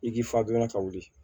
I k'i fagilan ka wuli